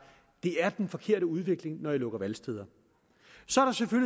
det er den forkerte udvikling når man lukker valgsteder